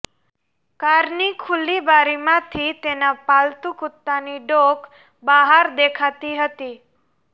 કારની ખુલ્લી બારીમાંથી તેના પાલતંુ કુત્તાની ડોક બહાર દેખાતી હતી